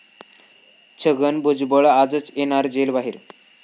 छगन भुजबळ आजच येणार जेल बाहेर?